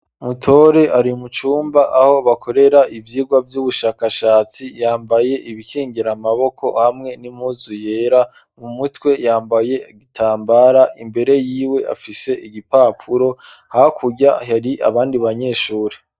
Mutore ari mu cumba aho bakorera ivyigwa by'ubushakashatsi, yambaye ibikingira amaboko hamwe n'impuzu yera, mu mutwe yambaye igitambara, imbere yiwe afise igipapuro, hakurya hari abandi banyeshuri.